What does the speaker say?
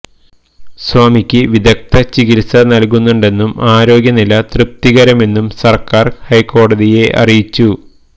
സ്വാമിക്ക് വിദഗ്ധ ചികിത്സ നൽകുന്നുണ്ടെന്നും ആരോഗ്യനില തൃപ്തികരമെന്നും സർക്കാർ ഹൈക്കോടതിയെ അറിയിച്ചു